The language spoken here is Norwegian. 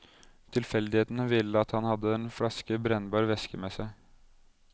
Tilfeldighetene ville at han hadde en flaske brennbar væske med seg.